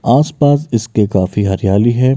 आस-पास इसके काफी हरियाली है।